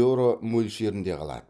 еуро мөлшерінде қалады